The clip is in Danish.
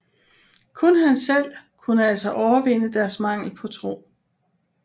Kun han selv kunne altså overvinde deres mangel på tro